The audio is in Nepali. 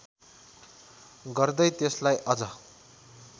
गर्दै त्यसलाई अझ